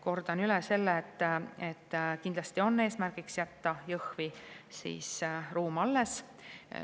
" Kordan üle selle, et kindlasti on eesmärgiks jätta Jõhvi mingi ruum alles.